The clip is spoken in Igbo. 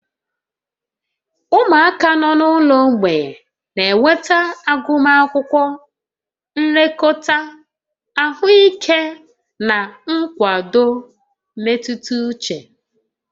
Ụmụaka nọ n'ụlọ mgbei na-enweta agụmakwụkwọ, nlekọta ahụike, na nkwado mmetụta uche